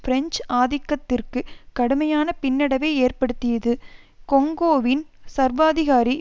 French ஆதிக்கத்திற்கு கடுமையான பின்னடைவை ஏற்படுத்தியது கொங்கோவின் சர்வாதிகாரி